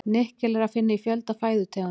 Nikkel er að finna í fjölda fæðutegunda.